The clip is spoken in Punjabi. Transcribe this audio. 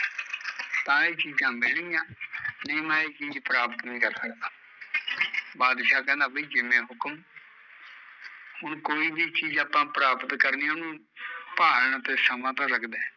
ਤਾਂ ਇਹ ਚੀਜ਼ਾਂ ਮਿਲਣਗੀਆ ਨਹੀਂ ਮੈਂ ਇਹ ਚੀਜ਼ ਪ੍ਰਾਪਤ ਨੀ ਕਰ ਸਕਦਾ, ਬਾਦਸ਼ਾਹ ਕਹਿੰਦਾ ਵੀ ਜਿਵੇ ਹੁਕਮ ਹੁਣ ਕੋਈ ਵੀ ਚੀਜ਼ ਆਪਾਂ ਪ੍ਰਾਪਤ ਕਰਨੀ ਓਹਨੂ ਭਾਲਣ ਨੂ ਸਮਾਂ ਤੇ ਲੱਗਦਾ ਐ